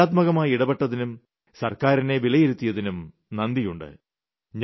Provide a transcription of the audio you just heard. വളരെ ക്രിയാത്മകമായി ഇടപെട്ടതിനും സർക്കാരിനെ വിലയിരുത്തിയതിനും നന്ദിയുണ്ട്